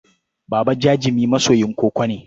Baba Jajami masoyin koko ne.